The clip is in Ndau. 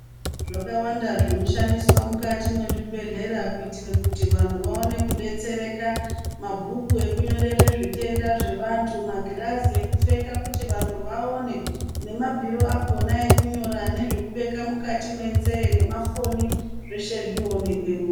Zvakawanda zvinoshandiswa mukati mezvibhedhlera kuitire kuti vanhu vawone kubetsereka mabhuku ekunyorere zvitenda zvevantu magirazi ekupfeka kuti vantu vawone nemabhiri akona ekunyora nemafoni zveshe zvinowonekemo.